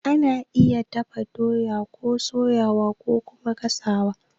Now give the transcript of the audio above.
Ana iya dafa doya, soyawa kokuma gasawa.